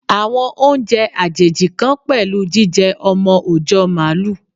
Àwọn oúnjẹ àjèjì kan pẹ̀lú jíjẹ ọmọ òjọ́ Màálù.